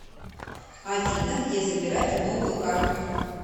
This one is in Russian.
афина где забирать новую карту